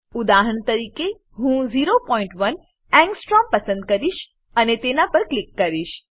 ઉદાહરણ તરીકે હું 01 એંગસ્ટ્રોમ પસંદ કરીશ અને તેના પર ક્લિક કરીશ